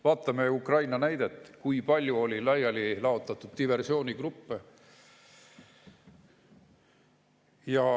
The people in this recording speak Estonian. Vaatame Ukraina näidet: kui palju oli diversioonigruppe.